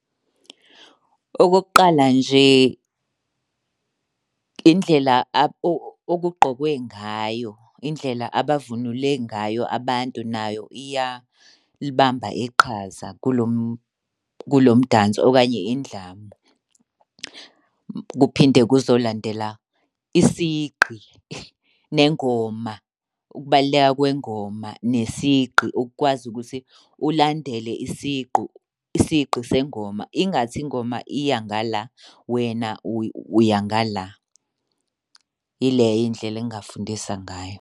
Okokuqala nje indlela okugqokwe ngayo. Indlela abavunule ngayo abantu nayo iyalibamba iqhaza kulo umdanso okanye indlamu. Kuphinde kuzolandela isigqi nengoma, ukubaluleka kwengoma nesigqi. Ukukwazi ukuthi ulandele isigqu, isigqi sengoma ingathi ingoma iya ngala, wena uya ngala. Yileyo indlela engingafundisa ngayo.